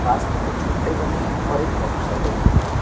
पास में कुछ झोंपड़े बने हैं और एक मोटरसाइकिल दिख रही है।